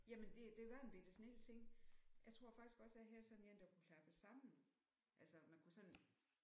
Jamen det det var en bette snild ting. Jeg tror faktisk også at jeg havde sådan en der kunne klappes sammen. Altså man kunne sådan